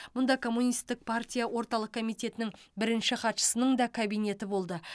мұнда коммунистік партия орталық комитетінің бірінші хатшысының да кабинеті болды